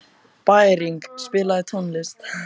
Bæring, spilaðu tónlist.